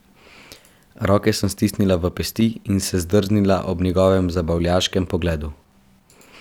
Roke sem stisnila v pesti in se zdrznila ob njegovem zabavljaškem pogledu.